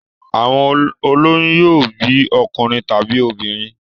Àwọn ó lóyún yóò bí ọkùnrin tàbí obìnrin.